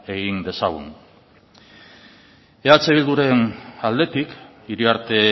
egin dezagun eh bildu ren aldetik iriarte